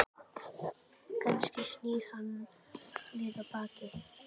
Kannski snýr hann við henni baki?